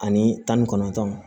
Ani tan ni kɔnɔntɔn